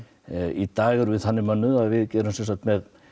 í dag erum við þannig mönnuð að við erum með